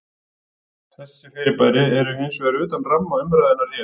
Þessi fyrirbæri eru hins vegar utan ramma umræðunnar hér.